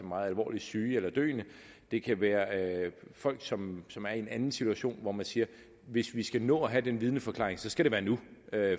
meget alvorligt syge eller døende det kan være folk som som er i en eller anden situation hvor man siger hvis vi skal nå at have den vidneforklaring skal det være nu